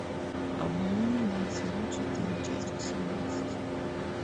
обмани меня сезон четыре часть восемнадцать